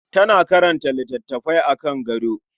Tana karanta littafi akan gado.